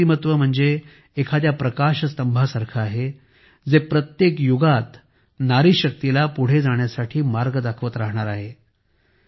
त्यांचे व्यक्तिमत्त्व म्हणजे एखाद्या प्रकाश स्तंभाप्रमाणे आहे जे प्रत्येक युगात नारी शक्तीला पुढे जाण्याचा मार्ग दाखवत राहणार आहे